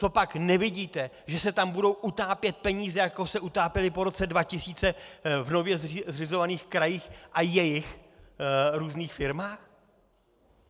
Copak nevidíte, že se tam budou utápět peníze, jako se utápěly po roce 2000 v nově zřizovaných krajích a jejich různých firmách?